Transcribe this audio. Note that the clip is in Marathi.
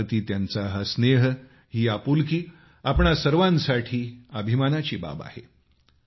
भारताप्रति त्यांचा हा स्नेह ही आपुलकी आपणा सर्वांसाठी अभिमानाची बाब आहे